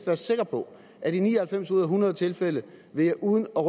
være sikker på at i ni og halvfems ud af hundrede tilfælde vil jeg uden at